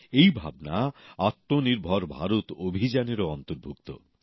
এই ভাবনা আত্মনির্ভর ভারত অভিযানেরও অন্তর্ভুক্ত